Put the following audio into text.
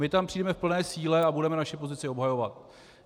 My tam přijdeme v plné síle a budeme naši pozici obhajovat.